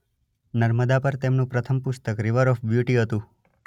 નર્મદા પર તેમનું પ્રથમ પુસ્તક - રીવર ઓફ બ્યુટી હતું.